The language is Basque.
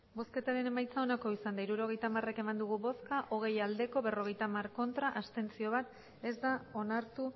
hirurogeita hamar eman dugu bozka hogei bai berrogeita hamar ez bat abstentzio ez da onartu